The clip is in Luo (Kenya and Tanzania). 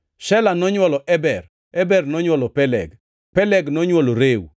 Shela nonywolo Eber, Eber nonywolo Peleg. Peleg nonywolo Reu,